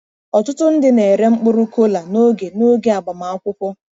Ọtụtụ ndị na-ere mkpụrụ kola n'oge n'oge agbamakwụkwọ.